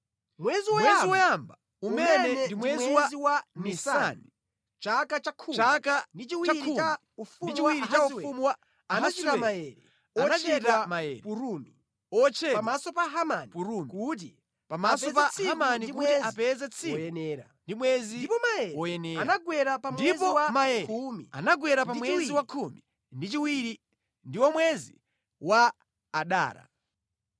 Mwezi woyamba, umene ndi mwezi wa Nisani, chaka cha khumi ndi chiwiri cha ufumu wa Ahasiwero anachita maere, otchedwa Purimu pamaso pa Hamani kuti apeze tsiku ndi mwezi woyenera. Ndipo maere anagwera pa mwezi wa khumi ndi chiwiri ndiwo mwezi wa Adara.